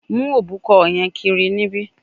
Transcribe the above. Mu obukan yen kiri nibi